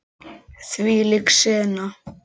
Þvílík sena.